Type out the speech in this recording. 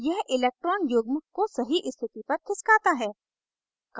यह electron युग्म को सही स्थिति पर खिसकाता है